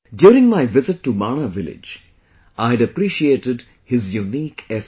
During my visit to Mana village, I had appreciated his unique effort